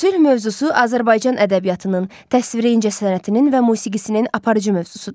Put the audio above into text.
Sülh mövzusu Azərbaycan ədəbiyyatının, təsviri incəsənətinin və musiqisinin aparıcı mövzusudur.